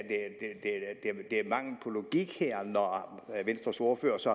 mangel på logik her når venstres ordfører så